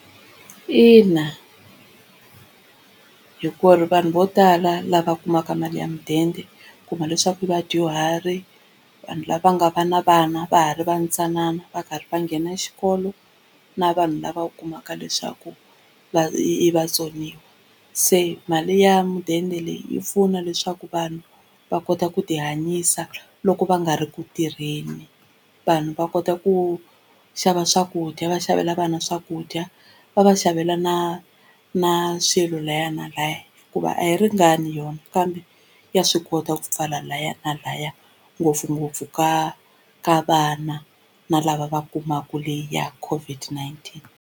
Ina, hi ku ri vanhu vo tala lava kumaka mali ya mudende u kuma leswaku vadyuhari, vanhu lava nga va na vana va ha ri va ntsanana va karhi va nghena xikolo na vanhu lava u kumaka leswaku i vatsoniwa. Se mali ya mudende leyi yi pfuna leswaku vanhu va kota ku tihanyisa loko va nga ri ku tirheni, vanhu va kota ku xava swakudya va xavela vana swakudya va va xavela na na swilo laha na laha, hikuva a yi ringani yona kambe ya swi kota ku pfala laha na laha ngopfungopfu ka ka vana na lava va kumaka leya COVID-19.